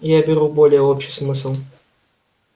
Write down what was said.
я беру более общий смысл